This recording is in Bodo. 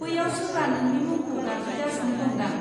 बैयाव सोरबा नोंनि मुंखौ गाबज्रिगासिनो दंदां।